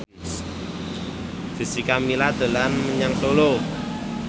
Jessica Milla dolan menyang Solo